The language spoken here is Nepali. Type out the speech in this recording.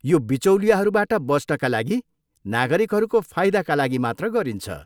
यो बिचौलियाहरूबाट बच्नका लागि नागरिकहरूको फाइदाका लागि मात्र गरिन्छ।